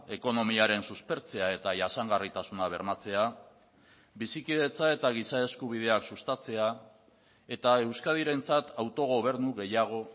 ekonomiaren suspertzea eta jasangarritasuna bermatzea bizikidetza eta giza eskubideak sustatzea eta euskadirentzat autogobernu gehiago